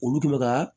Olu tun bɛ ka